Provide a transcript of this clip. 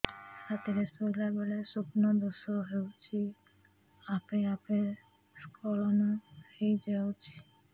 ରାତିରେ ଶୋଇଲା ବେଳେ ସ୍ବପ୍ନ ଦୋଷ ହେଉଛି ଆପେ ଆପେ ସ୍ଖଳନ ହେଇଯାଉଛି